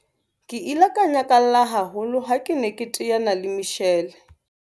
Ke ile ka nyakalla haholo ha ke ne ke teana le Michelle.